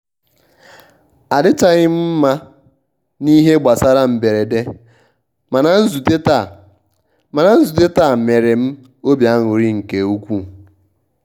adịchghị m mma na ihe gbasara mberede mana nzute taa mana nzute taa mere m obi aṅurị nke ukwuu